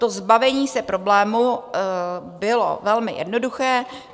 To zbavení se problému bylo velmi jednoduché.